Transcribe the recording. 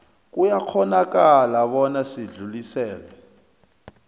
kuyakghonakala bona sidluliselwe